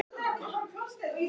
Er hann ekki í myndinni?